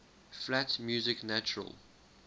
flat music natural